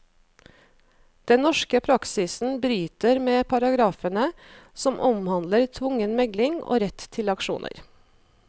Den norske praksisen bryter med paragrafene som omhandler tvungen megling og rett til aksjoner.